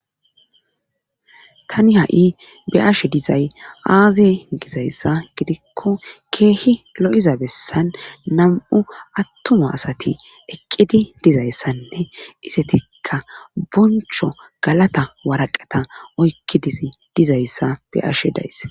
tani ha7i be ashe dizay aaze gizayssa gidikko keehi lo7iza bessan nam7u attuma asati eqqidi dizayssanne isetika boncho galata waraqata oykkidiz dizayssa be ashe dayss